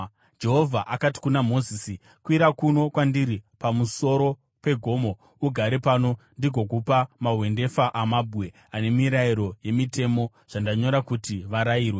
Jehovha akati kuna Mozisi, “Kwira kuno kwandiri pamusoro pegomo ugare pano, ndigokupa mahwendefa amabwe, ane mirayiro nemitemo zvandanyora kuti varayirwe.”